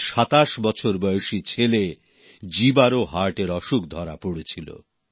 তাঁর 2৭ বছর বয়সি ছেলে জীবারও হার্টের অসুখ ধরা পড়ে ছিল